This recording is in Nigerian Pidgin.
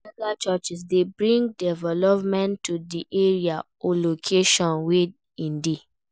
Mega churches de bring development to di area or location wey in de